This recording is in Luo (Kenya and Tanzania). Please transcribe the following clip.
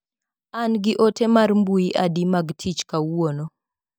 An gi ote mar mbui adi mag tich kawuiono.